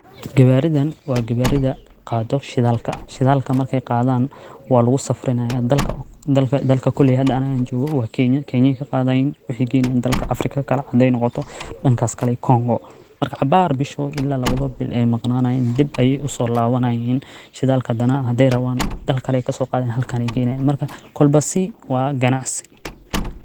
Gawaŕidan waa gawar8da qaado shidalka, shidalka markay qaadan waa lugu safrinaya dalka, dalka koley aniga hada an jogoo wa Kenya, Kenya aya kaqaadayin waxay geynayiin Afrika kale haday noqoto dhankas iyo kongo, marka cabaar bishi marki lawado bil aya maqnaanayin dhib ayay uso labanayiin shidalka hadana haday raban dalkaie ayay kado qadayiin halkan ayay keenayiin marka kolba si waa ganacsi